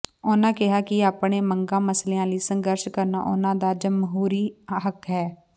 ਉਨ੍ਹਾਂ ਕਿਹਾ ਕਿ ਆਪਣੇ ਮੰਗਾਂ ਮਸਲਿਆਂ ਲਈ ਸੰਘਰਸ਼ ਕਰਨਾ ਉਨ੍ਹਾਂ ਦਾ ਜਮਹੂਰੀ ਹੱਕ ਹੈ